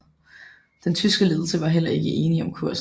Den tyske ledelse var heller ikke enige om kursen